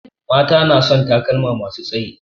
Mata na son takalma masu tsayi